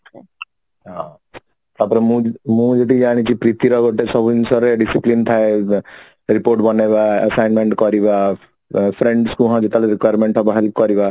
ହଁ ତାପରେ ମୁଁ ବି ମୁଁ ବି ଆଣିଛି ପ୍ରୀତିର ଗୋଟେ ସବୁ ଜିନିଷ ରେ discipline ଥାଏ report ବନେଇବା assignment କରିବା friends କୁ ଯେତେବେଳେ requirement ହେବ help କରିବା